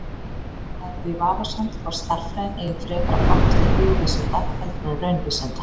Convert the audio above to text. Það er því vafasamt hvort stærðfræðin eigi frekar að flokkast til hugvísinda heldur en raunvísinda.